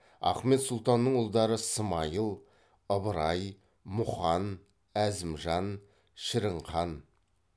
ахмет сұлтанның ұлдары смайыл ыбырай мұқан әзімжан шірінхан